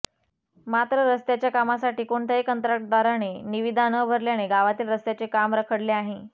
मात्र रस्त्याच्या कामासाठी कोणत्याही कंत्राटदाराने निवीदा न भरल्याने गावातील रस्त्याचे काम रखडले आहे